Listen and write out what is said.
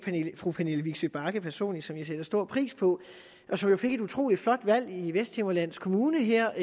fru pernille vigsø bagge personligt som jeg sætter stor pris på og som jo fik et utrolig flot valg i vesthimmerlands kommune her